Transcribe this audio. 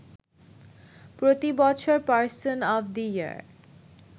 প্রতিবছর person of the year